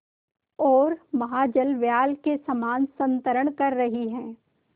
ओर महाजलव्याल के समान संतरण कर रही है